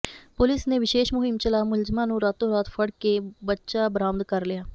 police ਨੇ ਵਿਸ਼ੇਸ਼ ਮੁਹਿੰਮ ਚਲਾ ਮੁਲਜ਼ਮਾਂ ਨੂੰ ਰਾਤੋਂ ਰਾਤ ਫੜ ਕੇ ਬੱਚਾ ਬਰਾਮਦ ਕਰ ਲਿਆ